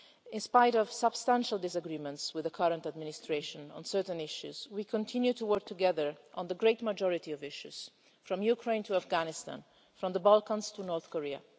In spite of substantial disagreements with the current administration on certain issues, we continue to work together on the great majority of issues, from Ukraine to Afghanistan, and from the Balkans to North Korea.